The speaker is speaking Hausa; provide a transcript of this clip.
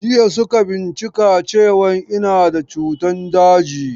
Jiya suka bincika cewan ina da cutan daji.